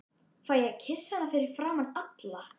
Fæ ég að kyssa hana fyrir framan alla?